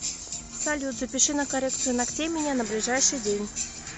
салют запиши на коррекцию ногтей меня на ближайший день